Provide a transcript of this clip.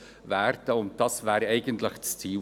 Dies wäre unser Ziel.